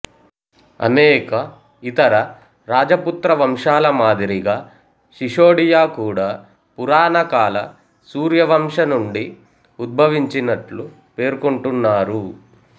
అనేక ఇతర రాజపుత్ర వంశాల మాదిరిగా శిశోడియా కూడా పురాణకాల సూర్యవంశ నుండి ఉద్భవించినట్లు పేర్కొంటున్నారు